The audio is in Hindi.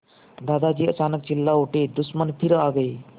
दादाजी अचानक चिल्ला उठे दुश्मन फिर आ गए